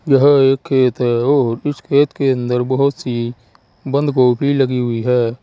यह एक खेत है और इस खेत के अंदर बहोत सी बंद गोभी लगी हुई है।